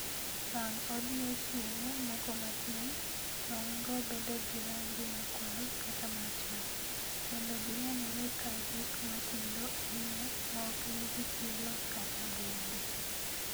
Bang' odiechienge moko matin, tong'go bedo gi rangi makwar kata marachar, kendo ginenore ka gik matindo ahinya maok nigi tielo kata buombe.